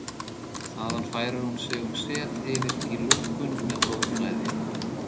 Þaðan færir hún sig um set yfir í lungun með blóðflæði.